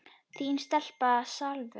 Þín stelpa, Salvör.